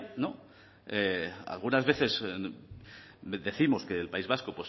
algunas veces décimos que el país vasco